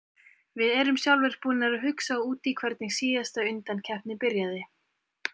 Við erum sjálfir búnir að hugsa út í hvernig síðasta undankeppni byrjaði.